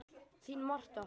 Þín Marta.